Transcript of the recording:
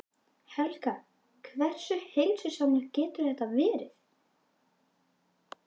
Helga: Hversu heilsusamlegt getur þetta verið?